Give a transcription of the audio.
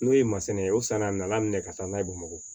N'o ye masina ye o sanna a nana minɛ ka taa n'a ye bamakɔ